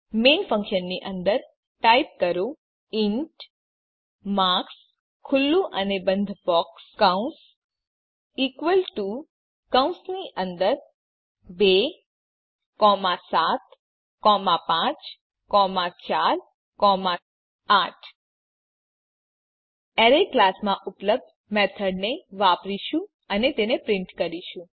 main ફંક્શનની અંદર type કરો ઇન્ટ માર્ક્સ ખુલ્લું અને બંધ બોક્સ કૌંસ ઇકવલ ટુ કૌંસની અંદર ૨ ૭ ૫ ૪ ૮ એરે ની સ્ટ્રીંગ રજૂઆત મેળવવા માટે આપણે એરે ક્લાસ માં ઉપલબ્ધ મેથડને વાપરીશું અને તેને પ્રીંટ કરીશું